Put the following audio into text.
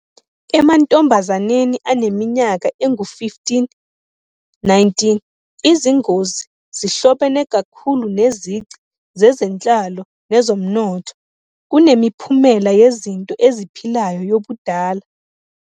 Emantombazaneni aneminyaka engu-15-19, izingozi zihlobene kakhulu nezici zezenhlalo nezomnotho kunemiphumela yezinto eziphilayo yobudala.